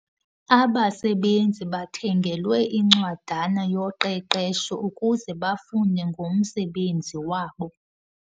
Abasebenzi bathengelwe incwadana yoqeqesho ukuze bafunde ngomsebenzi wabo.